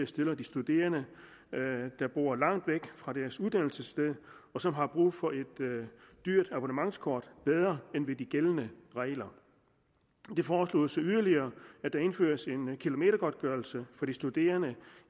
stiller de studerende der bor langt væk fra deres uddannelsessted og som har brug for et dyrt abonnementskort bedre end ved de gældende regler det foreslås yderligere at der indføres en kilometergodtgørelse for de studerende